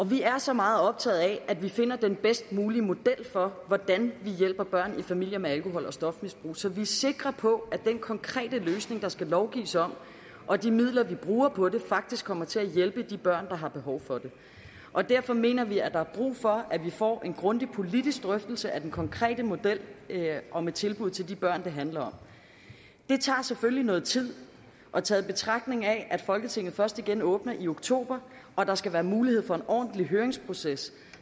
vi er så meget optaget af at vi finder den bedst mulige model for hvordan vi hjælper børn i familier med alkohol og stofmisbrug så vi er sikre på at den konkrete løsning der skal lovgives om og de midler vi bruger på det faktisk kommer til at hjælpe de børn der har behov for det og derfor mener vi at der er brug for at vi får en grundig politisk drøftelse af den konkrete model og med tilbud til de børn det handler om det tager selvfølgelig noget tid og taget i betragtning at folketinget først igen åbner i oktober og at der skal være mulighed for en ordentlig høringsproces